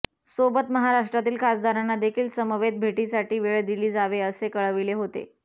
सोबत महाराष्ट्रातील खासदारांना देखील समवेत भेटीसाठी वेळ दिली जावे असे कळविले होते